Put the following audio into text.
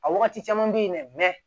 A wagati caman be yen dɛ